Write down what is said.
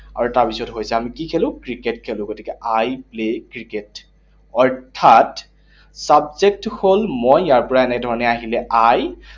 আৰু তাৰপিছত হৈছে আমি কি খেলো? ক্ৰিকেট খেলো। গতিকে I play cricket, অৰ্থাৎ subject হল মই, ইয়াৰ পৰা এনে ধৰণেৰে আহিলে I